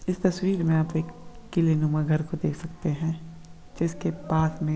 इस तस्वीर में आप एक किले नुमा घर को देख सकते हैं जिसके पास में --